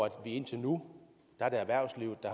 indtil nu er det erhvervslivet der